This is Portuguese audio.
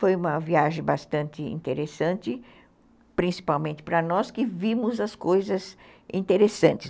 Foi uma viagem bastante interessante, principalmente para nós, que vimos as coisas interessantes.